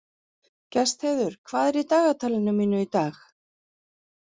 Gestheiður, hvað er í dagatalinu mínu í dag?